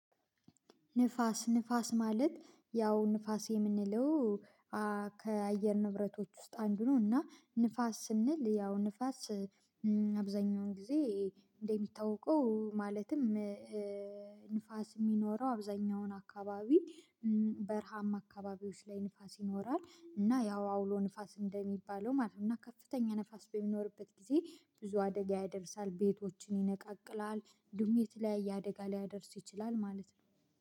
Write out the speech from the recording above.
ንፋስ ንፋስ ማለት ያው ንፋስ የምንለው ከአየር ንብረቶች ውስጥ አንዱ ነው። እና ንፋስ ስንል ያው ንፋስ አብዛኛውን ጊዜ እንደሚታወቀው ማለትም። ንፋስ የሚኖረው አብዛኛውን አካባቢ በረሃም አካባቢዎች ላይ ንፋስ ይኖራል። እና ያው አውሎ ንፋስ እንደሚባለው ማለት ነው። እና ከፍተኛ ንፋስ በሚኖርበት ጊዜ ብዙ አደጋ ያደርሳል ቤቶችን ይነቃቅላል ዱሜት ላይ ያየ አደጋ ሊያደርሱ ይችላል ማለት ነው